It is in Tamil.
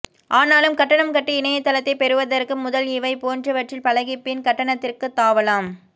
ஆனாலும் கட்டணம் கட்டி இணையத்தளத்தை பெறுவதற்க்கு முதல் இவை போன்றவற்றில் பழகி பின் கட்டணத்திற்கு தாவலாம்